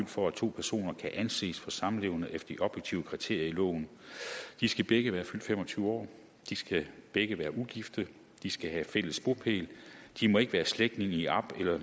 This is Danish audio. for at to personer kan anses for samlevende efter de objektive kriterier i loven de skal begge være fyldt fem og tyve år de skal begge være ugifte de skal have fælles bopæl de må ikke være slægtninge i op eller